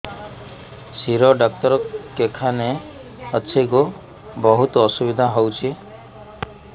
ଶିର doctor କେଖାନେ ଅଛେ ଗୋ ବହୁତ୍ ଅସୁବିଧା ହଉଚି